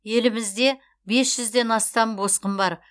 елімізде бес жүзден астам босқын бар